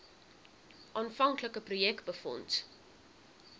aanvanklike projek befonds